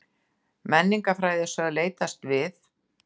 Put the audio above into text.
Menningarfræði eru sögð leitast við